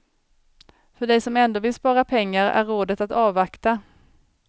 För dig som ändå vill spara pengar är rådet att avvakta.